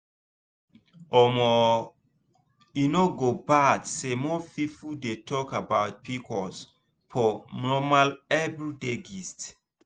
omo e no go bad say more people dey talk about pcos for normal everyday gist.